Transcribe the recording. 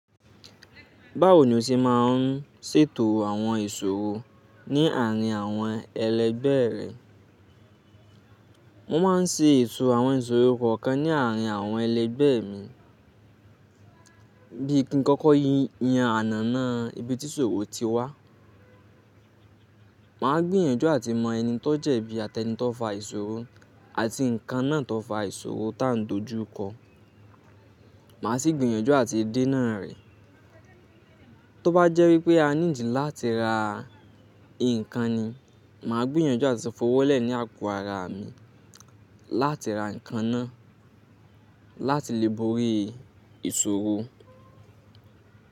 Báwo ni o ṣe máa ń ṣètò àwọn ìṣòro ní àárín àwọn ẹlẹgbẹ́ rẹ? Mo máa ń ṣe ètò àwọn ìṣòro kọ̀ọ̀kan ní àárín àwọn ẹlẹgbẹ́ mi. Bí i kíkọ́kọ́ yen anana ibi tí ìṣòro ti wá, màá gbìyànjú àti mọ ẹni tó jẹ̀bi àti ẹni tó fa ìṣòro àti nǹkan náà tó fa ìṣòro tá n dojú kọ. Màá sì gbìyànjú àti dénà rẹ̀. Tó bá jẹ́ wípé a need láti ra nǹkan ni, màá gbìyànjú àti fọwọ́lẹ̀ ní àpò ara mi láti ra nǹkan náà láti lè borí ìṣòro.